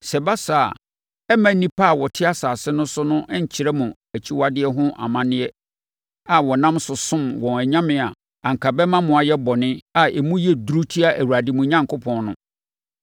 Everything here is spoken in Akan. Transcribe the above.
Sɛ ɛba saa a, ɛremma nnipa a wɔte asase no so no nkyerɛ mo akyiwadeɛ ho amanneɛ a wɔnam so somm wɔn anyame a anka ɛbɛma mo ayɛ bɔne a emu yɛ duru atia Awurade, mo Onyankopɔn, no.